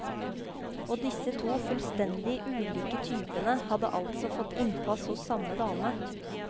Og disse to fullstendig ulike typene hadde altså fått innpass hos samme dame.